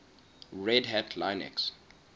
red hat linux